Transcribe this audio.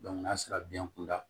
n'a sera biyɛn kunda